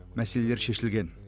мәселелер шешілген